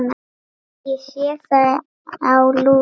Ég sé það á Lúlla.